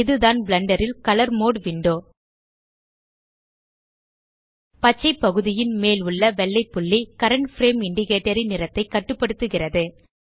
இதுதான் பிளெண்டர் ல் colour mode window பச்சை பகுதியின் மேல் உள்ள வெள்ளை புள்ளி கரண்ட் பிரேம் இண்டிகேட்டர் ன் நிறத்தைக் கட்டுப்படுத்துகிறது